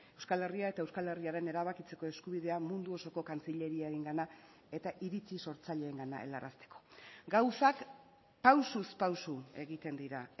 euskal herria eta euskal herriaren erabakitzeko eskubidea mundu osoko kantzileriarengana eta iritzi sortzaileengana helarazteko gauzak pausuz pausu egiten dira